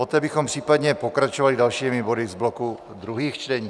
Poté bychom případně pokračovali dalšími body z bloku druhých čtení.